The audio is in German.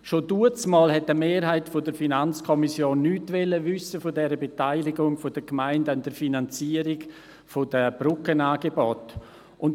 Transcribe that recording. Schon damals wollte eine Mehrheit der FiKo nichts von der Beteiligung der Gemeinden an der Finanzierung der Brückenangebote wissen.